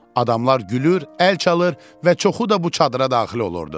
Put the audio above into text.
Adamlar gülür, əl çalır və çoxu da bu çadıra daxil olurdu.